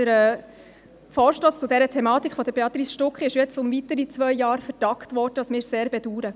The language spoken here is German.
Der Vorstoss zu dieser Thematik von Béatrice Stucki ist jetzt um weitere zwei Jahre vertagt worden, was wir sehr bedauern.